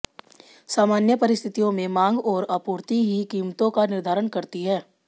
सामान्य परिस्थितियों में मांग और आपूर्ति ही कीमतों का निर्धारण करती हैं